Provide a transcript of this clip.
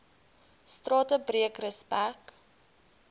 strate breek respek